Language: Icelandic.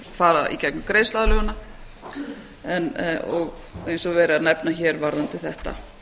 fara í gegnum greiðsluaðlögunina og eins og er verið að nefna hér varðandi þetta